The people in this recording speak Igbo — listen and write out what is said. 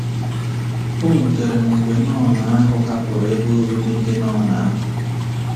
O wutere m mgbe nọn ahụ hapụrụ ebe obibi ndị nọn ahụ.